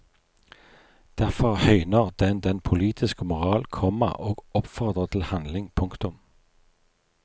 Derfor høyner den den poltitiske moral, komma og oppfordrer til handling. punktum